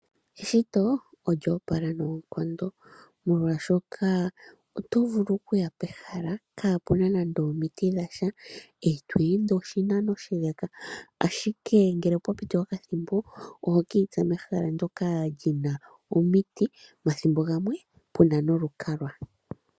Eshito olyoopala noonkondo, molwaashoka oto vulu okuya pehala kaapuna nande omiti dhasha, e to ende oshinano oshileka, ashike ngele opwa piti okathimbo, ohoki itsa mehala ndyoka lina omiti, mathimbo gamwe puna nolukalwa.